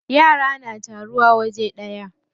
Yara na taruwa waje daya.